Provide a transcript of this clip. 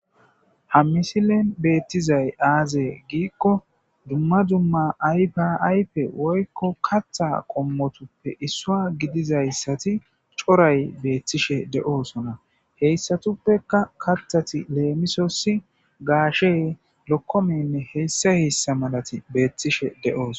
ha misilen beettizay aazee giikko dumma dumma aypaaype woykko katha qommotuppe issua gidizayssati coray beettishe de7oosona heyssatuppeka kathati leemisosi gaashe lokkomenne heyssa heyssa malati beettishe deoos